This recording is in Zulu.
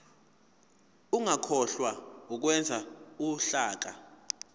ungakhohlwa ukwenza uhlaka